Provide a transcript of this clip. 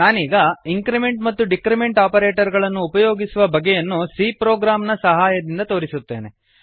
ನಾನೀಗ ಇಂಕ್ರಿಮೆಂಟ್ ಮತ್ತು decrement operator ಗಳನ್ನು ಉಪಯೋಗಿಸುವ ಬಗೆಯನ್ನು c ಪ್ರೊಗ್ರಾಮ್ ನ ಸಹಾಯದಿಂದ ತೋರಿಸುತ್ತೇನೆ